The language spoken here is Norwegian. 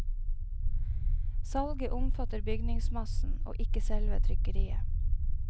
Salget omfatter bygningsmassen, og ikke selve trykkeriet.